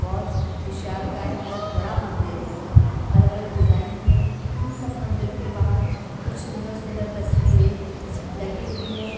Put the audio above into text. बहुत विशाल का है बहुत बड़ा मंदिर है अलग-अलग डिजाइंस में इन सब मंदिरों के बाहर कुछ सुंदर सुंदर तस्वीरें लगी हुई है।